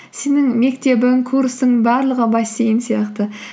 сенің мектебің курсың барлығы бассейн сияқты